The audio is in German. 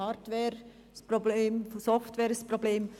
Hardware ein Problem, Software ein Problem.